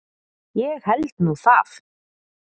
Ég held nú það!